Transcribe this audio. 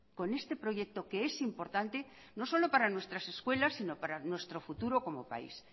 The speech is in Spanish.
con este proyecto que es importante no solo para nuestras escuelas sino para nuestro futuro en nuestro país